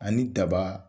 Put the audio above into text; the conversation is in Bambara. Ani daba